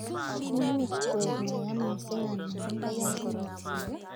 Imuch koek maya missing anan koyait missing.